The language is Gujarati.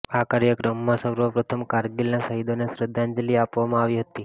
આ કાર્યક્રમમાં સર્વપ્રથમ કારગીલના શહીદોને શ્રદ્ધાંજલિ આપવામાં આવી હતી